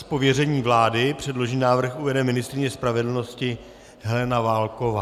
Z pověření vlády předložený návrh uvede ministryně spravedlnosti Helena Válková.